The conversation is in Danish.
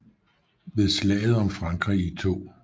Ved Slaget om Frankrig i 2